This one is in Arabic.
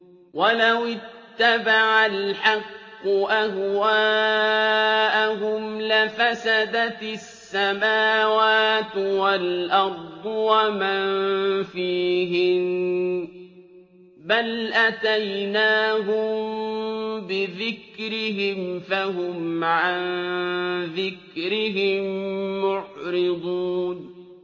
وَلَوِ اتَّبَعَ الْحَقُّ أَهْوَاءَهُمْ لَفَسَدَتِ السَّمَاوَاتُ وَالْأَرْضُ وَمَن فِيهِنَّ ۚ بَلْ أَتَيْنَاهُم بِذِكْرِهِمْ فَهُمْ عَن ذِكْرِهِم مُّعْرِضُونَ